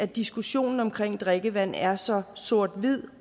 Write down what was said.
diskussionen om drikkevand er så sort hvid